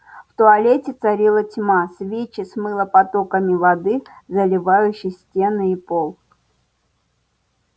в туалете царила тьма свечи смыло потоками воды заливающей стены и пол